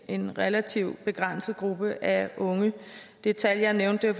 en relativt begrænset gruppe af unge det tal jeg nævnte